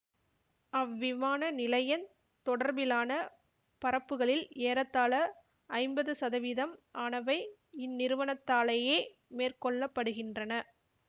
அவ்விமான நிலையந் தொடர்பிலான பறப்புக்களில் ஏறத்தாழ ஐம்பது சதவீதம் ஆனவை இந்நிறுவனத்தாலேயே மேற்கொள்ளப்படுகின்றன